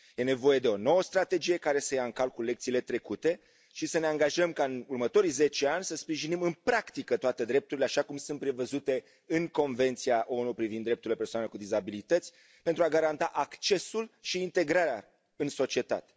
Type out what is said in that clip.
Este nevoie de o nouă strategie care să ia în calcul lecțiile trecute și să ne angajăm ca în următorii zece ani să sprijinim în practică toate drepturile așa cum sunt prevăzute în Convenția ONU privind drepturile persoanelor cu dizabilități, pentru a le garanta accesul și integrarea în societate.